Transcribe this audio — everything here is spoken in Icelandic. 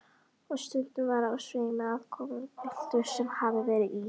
Og stundum var á sveimi aðkomupiltur sem hafði verið í